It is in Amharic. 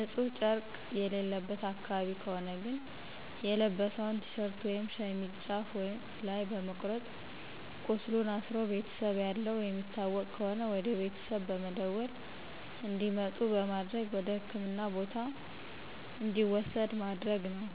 ንጺህ ጨረቅ የሌለበት አካባቢ ከሆነ ግን የለበሰውን ቲሸርት ወይም ሸሚዝ ጫፍ ላይ በመቁረጥ ቃስሉን አስሮ ቤተሰብ ያለው የሚታወቅ ከሆነ ወደቤተሰብ በመደወል እንዲመጡ በማድረግ ወደህክምና ቦታ እንዲወሰድ ማድረግ ነው።